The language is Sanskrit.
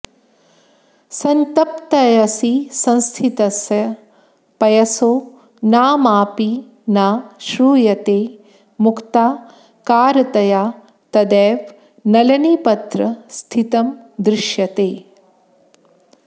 सन्तप्तायसि संस्थितस्य पयसो नामाऽपि न श्रूयते मुक्ता कारतया तदेव नलिनीपत्र स्थितं दृश्यते